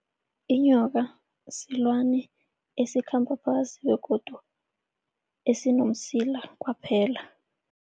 Inyoka silwane esikhamba phasi begodu esinomsila kwaphela.